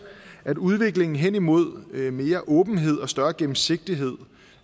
at udviklingen hen imod mere åbenhed og større gennemsigtighed